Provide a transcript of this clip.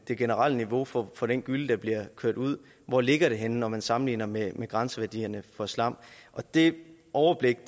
det generelle niveau for for den gylle der bliver kørt ud hvor ligger det henne når man sammenligner med med grænseværdierne for slam det overblik